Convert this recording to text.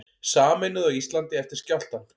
Sameinuð á Íslandi eftir skjálftann